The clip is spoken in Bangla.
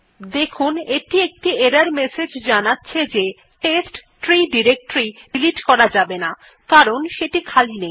দেখুন এটি একটি এরর মেসেজ জানাচ্ছে যে টেস্ট্রি ডিরেক্টরী ডিলিট করা যাবে না কারণ সেটি খালি নেই